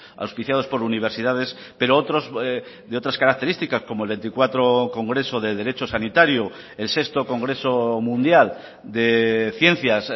auspiciados por universidades pero otros de otras características como el veinticuatro congreso de derecho sanitario el sexto congreso mundial de ciencias